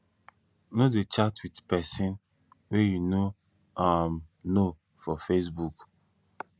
no dey chat wit pesin wey you no um know for facebook